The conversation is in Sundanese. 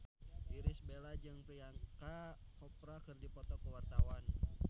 Irish Bella jeung Priyanka Chopra keur dipoto ku wartawan